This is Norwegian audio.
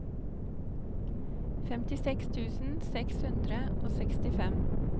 femtiseks tusen seks hundre og sekstifem